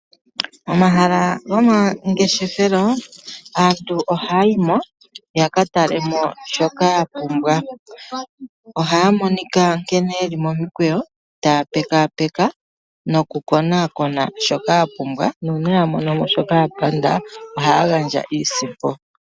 Momahala gomangeshefelo, aantu ohaya yi mo ya ka talemo shoka ya pumbwa. Ohaya monika nkene ye li momikweyo, taya pekapeka nokukonakona shoka ya pumbwa. Nuuna ya mono mo shoka ya panda ohaya gandja iisimpo.